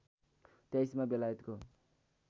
२३ मा बेलायतको